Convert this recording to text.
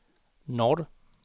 norr